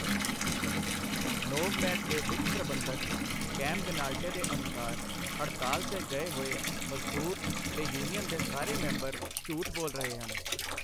Novamed ਦੇ ਵਿੱਤ ਪ੍ਰਬੰਧਕ, ਕੈਮ ਗਨਾਲਟੇ ਦੇ ਅਨੁਸਾਰ, ਹੜਤਾਲ 'ਤੇ ਗਏ ਹੋਏ ਮਜ਼ਦੂਰ ਤੇ ਯੂਨੀਅਨ ਦੇ ਸਾਰੇ ਮੈਂਬਰ ਝੂਠ ਬੋਲ ਰਹੇ ਹਨ।